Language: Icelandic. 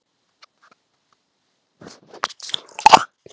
Það er himnesk stund.